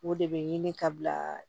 O de bɛ ɲini ka bila